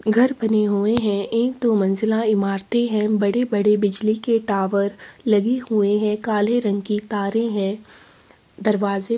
घर बन हुए है एक दो मंजिला इमारत है बड़ी बड़ी बिजली के टावर लगा हुए है काल रंग की तारे है दरवाजे--